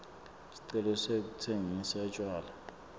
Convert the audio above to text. sicelo sekutsengisa tjwala